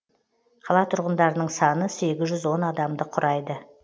қала тұрғындарының саны сегіз жүз он адамды құрайды